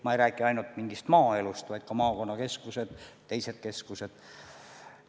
Ma ei räägi ainult päris maaelust, vaid ka maakonnakeskustest ja muudest keskustest.